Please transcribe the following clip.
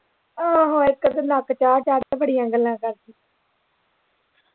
ਆਹੋ ਇੱਕ ਤੇ ਨੱਕ ਚਾੜ ਚਾੜ ਕੇ ਬੜੀਆਂ ਗੱਲਾਂ ਕਰਦੀ